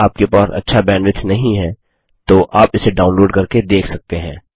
यदि आपके पास अच्छा बैंडविड्थ नहीं है तो आप इसे डाउनलोड करके देख सकते हैं